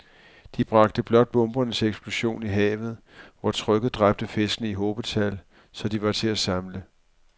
De bragte blot bomberne til eksplosion i havet, hvor trykket dræbte fiskene i hobetal, så de var til at samle